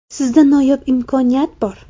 Sizda noyob imkoniyat bor!